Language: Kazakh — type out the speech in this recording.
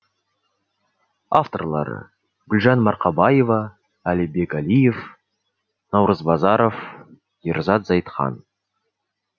авторлары гүлжан марқабаева әлібек әлиев наурыз базаров ерзат зайытхан